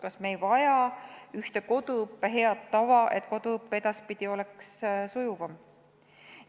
Kas me ei vaja ühtset koduõppe head tava, et koduõpe oleks edaspidi sujuvam?